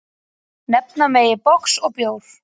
Nefna megi box og bjór.